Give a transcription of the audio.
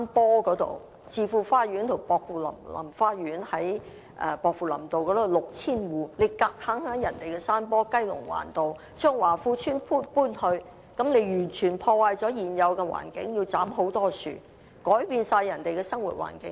在薄扶林道的置富花園及薄扶林花園的 6,000 個住戶，政府強硬把雞籠灣的華富邨搬往人家的山坡去，這樣完全破壞了現有環境，斬去了大量樹木，完全改變人家的生活環境。